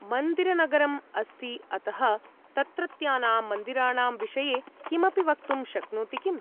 मन्दिरनगरम् अस्ति अतः तत्रत्यानां मन्दिराणां विषये किमपि वक्तुं शक्नोति किम्?